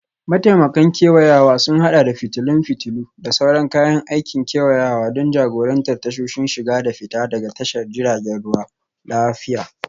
Mataimakan kewayawa sun haɗa da fitilun fitilu, da sauran kayan aikin kewayawa don jagorantar tasoshin shiga da fita daga tashar jiragen ruwa lafiya.